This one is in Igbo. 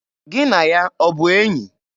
Gị na ya ọ bụ enyi?